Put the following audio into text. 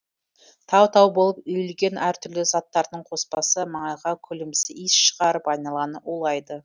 тау тау болып үйілген әртүрлі заттардың қоспасы маңайға күлімсі иіс шығарып айналаны улайды